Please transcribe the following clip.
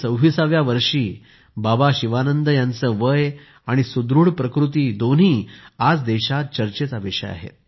126 व्या वर्षी बाबा शिवानंद यांचे वय आणि सुदृढ प्रकृती दोन्ही आज देशात चर्चेचा विषय आहे